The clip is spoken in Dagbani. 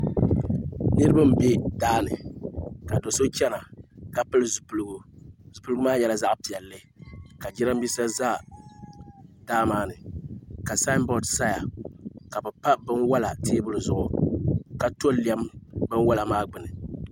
Niraba n bɛ daani ka do so chɛna ka pili zipiligu zipiligu maa nyɛla zaɣ piɛlli ka jiranbiisa ʒɛ daa maa ni ka saanbood saya ka bi pa binwola teebuli zuɣu ka to lɛm binwola maa gbuni